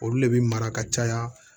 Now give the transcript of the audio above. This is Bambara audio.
Olu de bi mara ka caya